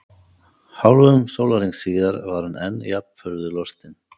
Hálfum sólarhring síðar var hann enn jafn furðu lostinn.